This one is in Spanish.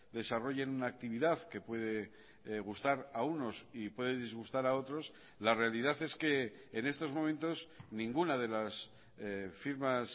desarrollen una actividad que puede gustar a unos y puede disgustar a otros la realidad es que en estos momentos ninguna de las firmas